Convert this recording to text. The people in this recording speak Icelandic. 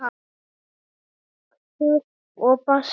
Punktur og basta!